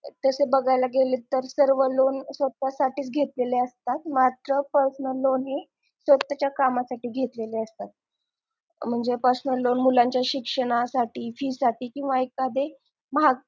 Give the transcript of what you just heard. तसं बघाय गेलं तर सर्व loan स्वतःसाठीच घेतलेले असतात मात्र personal loan हे स्वतःच्या कामासाठी घेतलेले असतात म्हणजे personal loan मुलांच्या शिक्षणासाठी फी साठी किंवा एखादी महाग